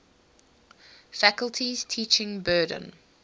faculty's teaching burden